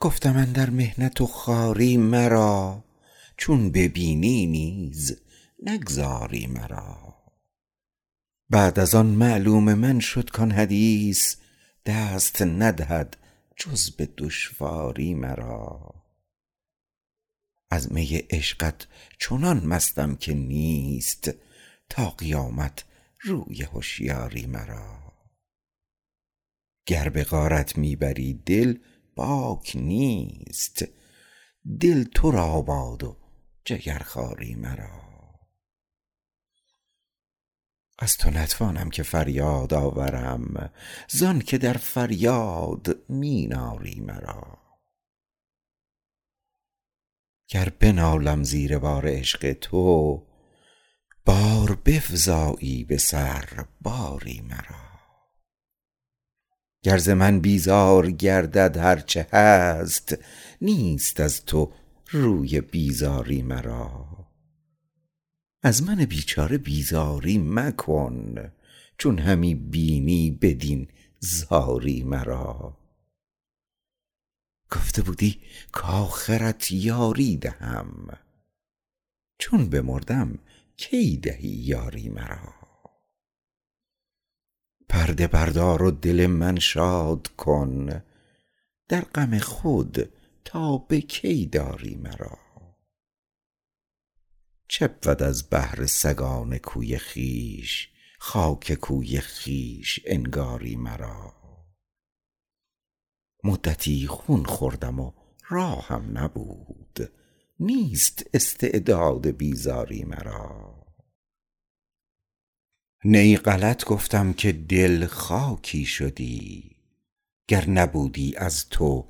گفتم اندر محنت و خواری مرا چون ببینی نیز نگذاری مرا بعد از آن معلوم من شد کان حدیث دست ندهد جز به دشواری مرا از می عشقت چنان مستم که نیست تا قیامت روی هشیاری مرا گر به غارت می بری دل باک نیست دل تو را باد و جگرخواری مرا از تو نتوانم که فریاد آورم زآنکه در فریاد می ناری مرا گر بنالم زیر بار عشق تو باز بفزایی به سر باری مرا گر زمن بیزار گردد هرچه هست نیست از تو روی بیزاری مرا از من بیچاره بیزاری مکن چون همی بینی بدین زاری مرا گفته بودی کاخرت یاری دهم چون بمردم کی دهی یاری مرا پرده بردار و دل من شاد کن در غم خود تا به کی داری مرا چبود از بهر سگان کوی خویش خاک کوی خویش انگاری مرا مدتی خون خوردم و راهم نبود نیست استعداد بیزاری مرا نی غلط گفتم که دل خاکی شدی گر نبودی از تو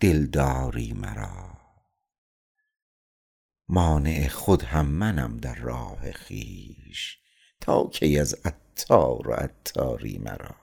دلداری مرا مانع خود هم منم در راه خویش تا کی از عطار و عطاری مرا